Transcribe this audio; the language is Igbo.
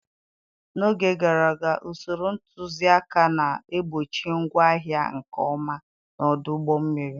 N'oge gara aga, usoro ntuziaka na-egbochi ngwa ahịa nke ọma na ọdụ ụgbọ mmiri.